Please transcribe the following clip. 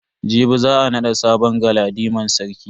Jibi za a nada sabon galadiman sarki.